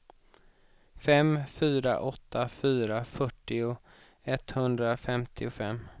fem fyra åtta fyra fyrtio etthundrafemtiofem